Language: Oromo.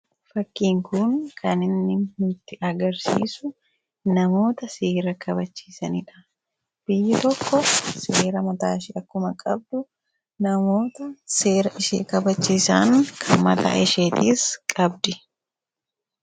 fakkiin kuun kan inni nutti agarsiisu namoota seera kabachiisaniidha. Biyya tokko seera mataa ishii akkuma qabdu namoota seera ishee kabachiisan kan mataa isheetiis qabdi.